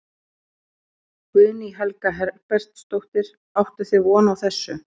Guðný Helga Herbertsdóttir: Áttuð þið von á þessu?